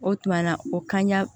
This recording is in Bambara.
O tuma na o kan ɲa